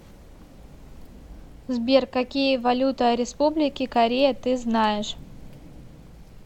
сбер какие валюта республики корея ты знаешь